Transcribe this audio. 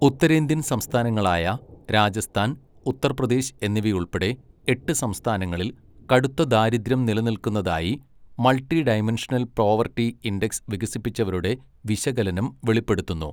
ഉത്തരേന്ത്യൻ സംസ്ഥാനങ്ങളായ രാജസ്ഥാൻ, ഉത്തർപ്രദേശ് എന്നിവയുൾപ്പെടെ എട്ട് സംസ്ഥാനങ്ങളിൽ കടുത്ത ദാരിദ്ര്യം നിലനിൽക്കുന്നതായി മൾട്ടിഡൈമെൻഷണൽ പ്രോവർട്ടി ഇൻഡക്സ് വികസിപ്പിച്ചവരുടെ വിശകലനം വെളിപ്പെടുത്തുന്നു.